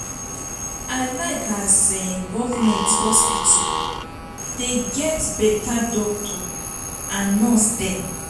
i like as um government hospital dey get beta doctor and nurse dem.